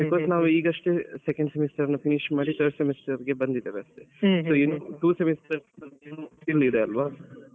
Because ನಾವು ಈಗಷ್ಟೇ second semester finish ಮಾಡಿ third semester ಗೆ ಬಂದಿದೇವೆ ಅಷ್ಟೇ so two semester skills ಇದೆ ಅಲ್ವ.